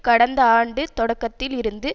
கடந்த ஆண்டு தொடக்கத்தில் இருந்து